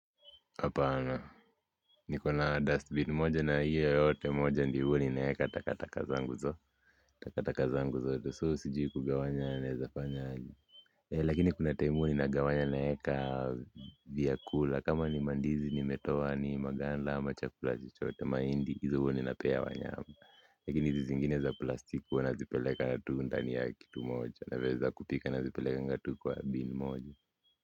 Hapana niko na dustbin moja na hiyo yote moja ndyo huwa ninaeka takata zangu zo takataka zangu zote so sijui kugawanya naezafanya aje lakini kuna time huwa ninagawanya naeka vyakula kama ni mandizi nimetoa ni maganda ama chakula chochote mahindi hizo huwa ninapea wanyama lakini hizi zingine za plastiki huwa nazipeleka tu ndani ya kitu moja naweza kupika nazipelekanga tu kwa bin moja.